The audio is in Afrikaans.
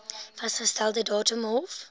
vasgestelde datum hof